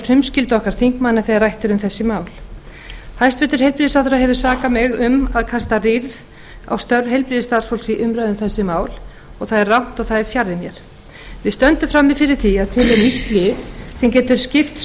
frumskyldu okkar þingmanna þegar rætt er um þessi mál hæstvirtur heilbrigðisráðherra hefur sakað mig um að kasta rýrð á störf heilbrigðisstarfsfólks í umræðu um þessi mál og það er rangt og það er fjarri mér við stöndum frammi fyrir því að til er nýtt lyf sem getur skipt